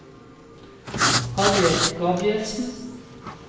Harriet Gabrielsen